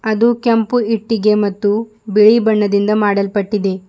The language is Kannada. ಅದು ಕೆಂಪು ಇಟ್ಟಿಗೆ ಮತ್ತು ಬಿಳಿ ಬಣ್ಣದಿಂದ ಮಾಡಲ್ಪಟ್ಟಿದೆ.